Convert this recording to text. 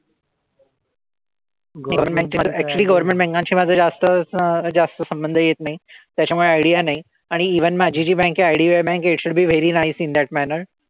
actually governmentbanks शी माझं जास्त असा जास्त संबंध येत नाही. त्याच्यामुळे idea नाही. आणि even माझी जी bank आहे IDBI bank it should be very nice in that manner.